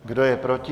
Kdo je proti?